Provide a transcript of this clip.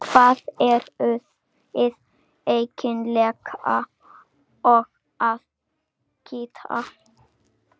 Um hvað eruð þið eiginlega að kýta?